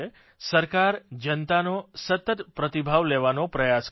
સરકાર જનતાનો સતત પ્રતિભાવ લેવાનો પ્રયાસ કરે છે